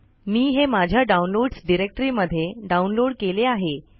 मी हे माझ्या downloads directory मध्ये डाउनलोड केले आहे